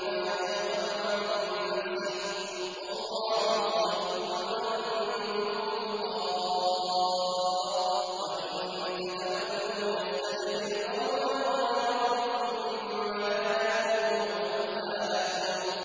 فَإِنَّمَا يَبْخَلُ عَن نَّفْسِهِ ۚ وَاللَّهُ الْغَنِيُّ وَأَنتُمُ الْفُقَرَاءُ ۚ وَإِن تَتَوَلَّوْا يَسْتَبْدِلْ قَوْمًا غَيْرَكُمْ ثُمَّ لَا يَكُونُوا أَمْثَالَكُم